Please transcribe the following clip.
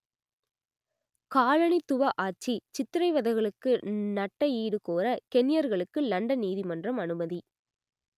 காலனித்துவ ஆட்சி சித்திரவதைகளுக்கு நட்டஈடு கோர கென்யர்களுக்கு லண்டன் நீதிமன்றம் அனுமதி